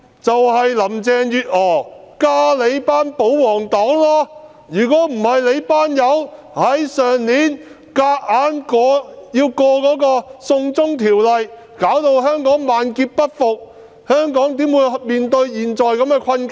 正是林鄭月娥和你們這些保皇黨，如果這些人沒有在去年試圖強行通過"送中條例"，導致香港萬劫不復，香港怎會面對現時的困境？